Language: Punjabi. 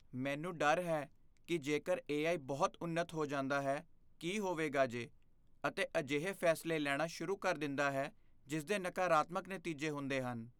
ਮੈਨੂੰ ਡਰ ਹੈ ਕਿ ਜੇਕਰ ਏ.ਆਈ. ਬਹੁਤ ਉੱਨਤ ਹੋ ਜਾਂਦਾ ਹੈ ਕੀ ਹੋਵੇਗਾ ਜੇ ਅਤੇ ਅਜਿਹੇ ਫੈਸਲੇ ਲੈਣਾ ਸ਼ੁਰੂ ਕਰ ਦਿੰਦਾ ਹੈ ਜਿਸ ਦੇ ਨਕਾਰਾਤਮਕ ਨਤੀਜੇ ਹੁੰਦੇ ਹਨ।